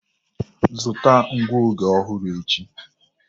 Zụta ngụoge ọhụrụ echi.